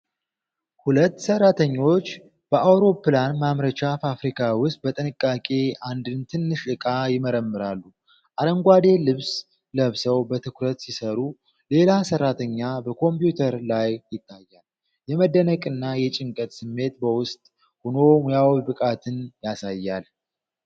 ሁለት ሰራተኞች በአውሮፕላን ማምረቻ ፋብሪካ ውስጥ በጥንቃቄ አንድን ትንሽ ዕቃ ይመረምራሉ። አረንጓዴ ልብስ ለብሰው በትኩረት ሲሰሩ፣ ሌላ ሰራተኛ በኮምፒውተር ላይ ይታያል። የመደነቅና የጭንቀት ስሜት በውስጥ ሆኖ ሙያዊ ብቃትን ያሳያል።